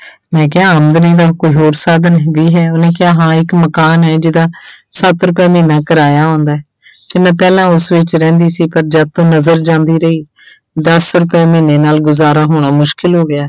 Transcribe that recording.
ਮੈਂ ਕਿਹਾ ਆਮਦਨੀ ਦਾ ਕੋਈ ਹੋਰ ਸਾਧਨ ਵੀ ਹੈ ਉਹਨੇ ਕਿਹਾ ਹਾਂ ਇੱਕ ਮਕਾਨ ਹੈ ਜਿਹਦਾ ਸੱਤ ਰੁਪਇਆ ਮਹੀਨਾ ਕਿਰਾਇਆ ਆਉਂਦਾ ਹੈ ਤੇ ਮੈਂ ਪਹਿਲਾਂ ਉਸ ਵਿੱਚ ਰਹਿੰਦੀ ਸੀ ਪਰ ਜਦ ਤੋਂ ਨਜ਼ਰ ਜਾਂਦੀ ਰਹੀ ਦਸ ਰੁਪਇਆ ਮਹੀਨੇ ਨਾਲ ਗੁਜ਼ਾਰਾ ਹੋਣਾ ਮੁਸ਼ਕਲ ਹੋ ਗਿਆ।